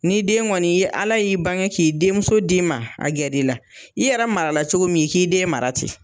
Ni den kɔni ye ala y'i bange k'i denmuso d'i ma, a gɛrɛ i la, i yɛrɛ mara la cogo min k'i den mara ten!